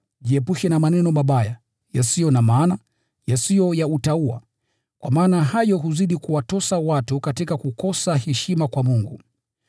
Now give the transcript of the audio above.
Jiepushe na maneno mabaya, yasiyo na maana, yasiyo ya utauwa, kwa maana hayo huzidi kuwatosa watu katika kukosa heshima kwa Mungu.